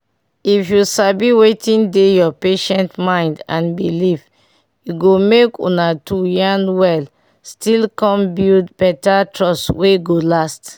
if you sabi wetin dey your patient mind and belief e go make una 2 yarn well still come build better trust wey go last.